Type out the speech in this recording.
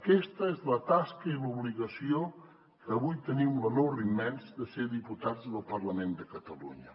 aquesta és la tasca i l’obligació que avui tenim l’honor immens de ser diputats del parlament de catalunya